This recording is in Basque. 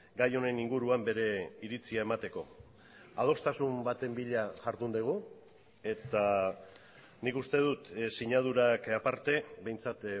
gai honen inguruan bere iritzia emateko adostasun baten bila jardun dugu eta nik uste dut sinadurak aparte behintzat